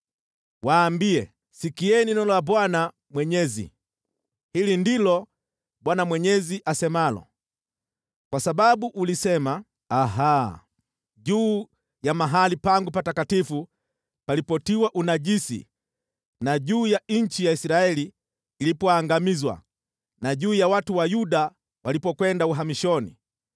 Waambie, ‘Sikieni neno la Bwana Mwenyezi. Hili ndilo Bwana Mwenyezi asemalo: Kwa sababu ulisema, “Aha!” juu ya mahali pangu patakatifu palipotiwa unajisi, na juu ya nchi ya Israeli ilipoangamizwa, na juu ya watu wa Yuda walipokwenda uhamishoni,